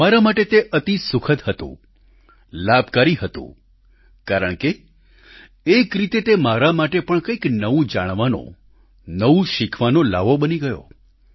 મારા માટે તે અતિ સુખદ હતું લાભકારી હતું કારણ કે એક રીતે તે મારા માટે પણ કંઈક નવું જાણવાનો નવું શિખવાનો લ્હાવો બની ગયો